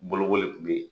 Bolokoli tun bɛ yen